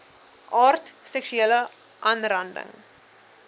aard seksuele aanranding